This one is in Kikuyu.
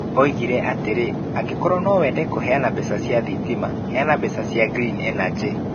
oigire atĩrĩ ,"Angĩkorwo no wende kũheana mbeca cia thitima, heana mbeca cia green energy."